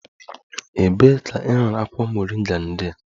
Ebee ka ị hụrụ akwụkwọ moringa ndị a?